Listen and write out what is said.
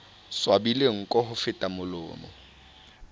swabile nko ho feta molomo